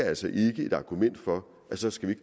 altså ikke et argument for at så skal vi